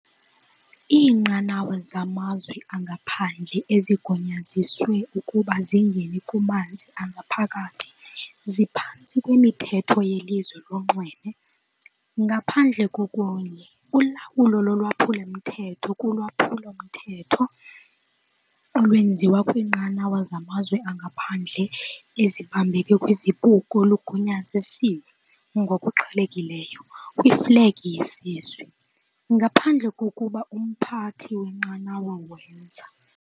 Iinqanawa zamazwe angaphandle ezigunyaziswe ukuba zingene kumanzi angaphakathi ziphantsi kwemithetho yeLizwe lonxweme, ngaphandle kokunye- ulawulo lolwaphulo-mthetho kulwaphulo-mthetho olwenziwa kwiinqanawa zamazwe angaphandle ezibambeke kwizibuko lugunyaziswe, ngokuqhelekileyo, kwiFlegi yeSizwe, ngaphandle kokuba umphathi wenqanawa wenza.